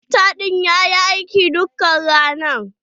Tarakta ɗin ya yi aiki duka rana.